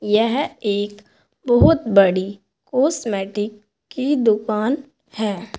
यह एक बहुत बड़ी कॉस्मेटिक की दुकान है।